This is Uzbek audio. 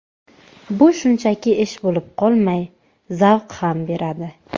Bu shunchaki ish bo‘lib qolmay, zavq ham beradi.